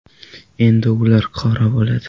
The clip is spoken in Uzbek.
Endi ular qora bo‘ladi .